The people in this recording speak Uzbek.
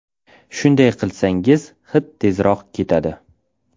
Shunday qilsangiz, hid tezroq ketadi.